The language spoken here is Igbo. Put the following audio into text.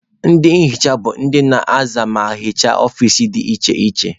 Ndị nhicha bụ ndị na-aza ma na-ehicha ọfici dị iche iche.